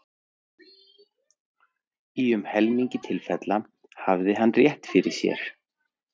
Í um helmingi tilfella hafði hann rétt fyrir sér!